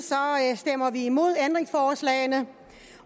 stemmer vi imod ændringsforslagene